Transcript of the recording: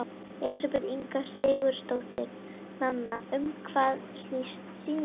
Elísabet Inga Sigurðardóttir: Nanna, um hvað snýst sýningin?